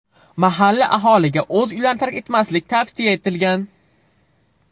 Mahalliy aholiga o‘z uylarini tark etmaslik tavsiya etilgan.